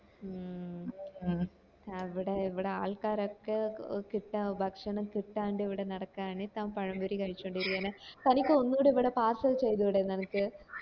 മ് മ് അവിടെ ഇവിടെ ആൾക്കാര് ഒക്കെ കിട്ട ഭക്ഷണം കിട്ടാണ്ട് ഇവിടെ നടക്കാണ് താൻ പഴപൊരി കാഴ്‌ച്ചോണ്ട് ഇരിക്കാണ് തനിക്ക് ഒന്നൂടെ ഇവിടെ parcel ചെയ്തൂടെ നിനക്ക്